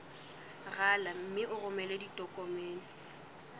rala mme o romele ditokomene